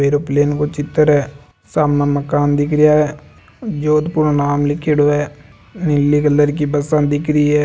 एयरोप्लेन को चित्र है साम मकान दिखरिया है जोधपुर नाम लीखियोडो है नीली कलर की बसा दिख रही है।